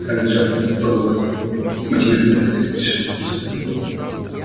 қазір жастар ғылымда көп математикада әсіресе шығып жатқан жастар көп